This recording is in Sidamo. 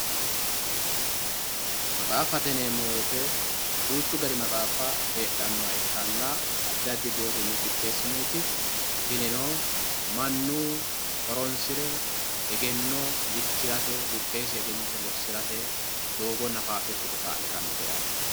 maxaaffate yineemmo woyte duuchu gari maxaaffa heedhannoha ikkanna addi addi deerrinni qixxeessinoyiiti tinino, mannu horonsi're egenno dikkirate buqqeesino lossirate doogonna faashsho ikite kaa'litannote yaate.